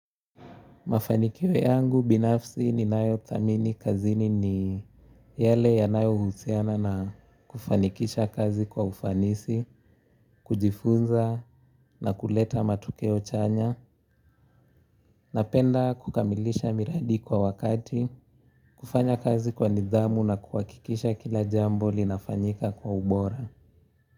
Mafanikio yangu binafsi ni nayo thamini kazini ni yale yanayo husiana na kufanikisha kazi kwa ufanisi kujifunza na kuleta matokeo chanya napenda kukamilisha miradi kwa wakati kufanya kazi kwa nidhamu na kuhakikisha kila jambo linafanyika kwa ubora.